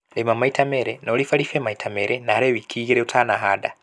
Lĩma maita melĩ na ũribaribe maita melĩ narĩ wiki igĩlĩ ũtanahanda